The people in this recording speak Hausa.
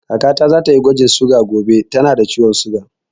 Kaka ta za ta yi gwajin suga gobe, ta na da ciwon suga